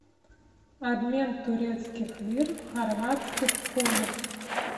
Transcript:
обмен турецких лир в хорватских кунах